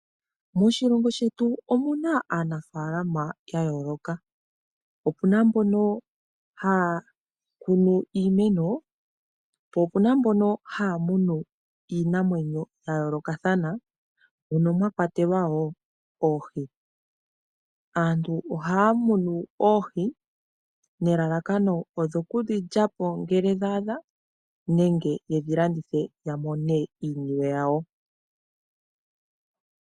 Moshilongo shetu omuna aanafalama ya yooloka. Opuna mbono hakunu iimeno , po opuna mbono hamunu iinamwenyo ya yoolakathana mono mwakwatelwa wo oohi. Aantu ohaya munu oohi nelalakano odho kudhi lyapo ngele dha adha nenge yedhi landitha the yamone iiyemo yawo.